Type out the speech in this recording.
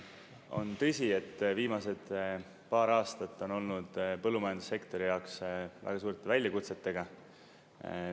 On tõsi, et viimased paar aastat on olnud põllumajandussektori jaoks väga suurte väljakutsetega.